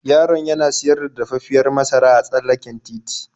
Yaron yana siyar da dafaffiyar masara a tsallaken titi.